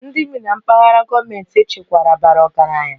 Ndị bi na mpaghara gọọmentị echekwara bara ọgaranya